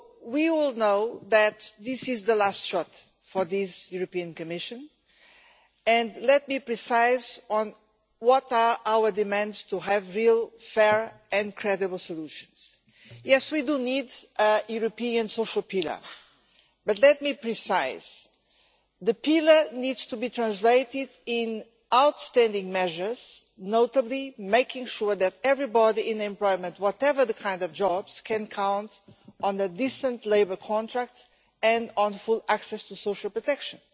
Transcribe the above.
We all know that this is the last shot for this European Commission, and let me be precise on what our demands are to have real, fair and credible solutions. Yes, we do need a European Social Pillar, but let me be precise the pillar needs to be translated in outstanding measures, notably making sure that everybody in employment in whatever kind of job can count on a decent labour contract and on full access to social protection.